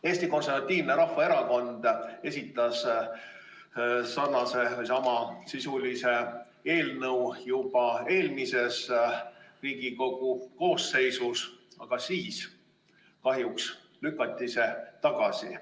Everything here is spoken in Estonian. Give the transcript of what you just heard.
Eesti Konservatiivne Rahvaerakond esitas sarnase või sama sisuga eelnõu juba eelmises Riigikogu koosseisus, aga siis kahjuks lükati see tagasi.